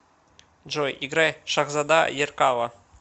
джой играй шахзода еркала